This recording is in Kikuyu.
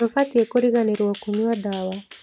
Ndũbatiĩ kũriganĩrwo kũnyua ndawa.